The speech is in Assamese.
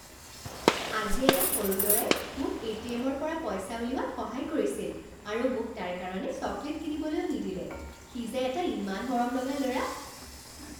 আজি এটা সৰু ল'ৰাই মোক এ টি এম ৰ পৰা পইচা উলিওৱাত সহায় কৰিছিল আৰু মোক তাৰ কাৰণে চকলেট কিনিবলৈও নিদিলে। সি যে এটা ইমান মৰমলগা ল'ৰা।